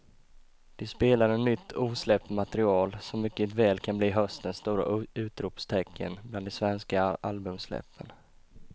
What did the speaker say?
De spelade nytt osläppt material som mycket väl kan bli höstens stora utropstecken bland de svenska albumsläppen.